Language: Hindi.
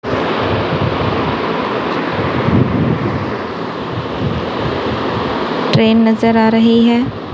ट्रेन नजर आ रही है।